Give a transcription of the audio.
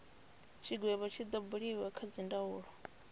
tshigwevho tshi do buliwa kha dzindaulo